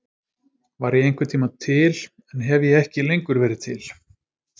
Var ég einhvern tíma til en hef ég ekki lengur verið til?